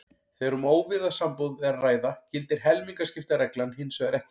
Þegar um óvígða sambúð er að ræða gildir helmingaskiptareglan hins vegar ekki.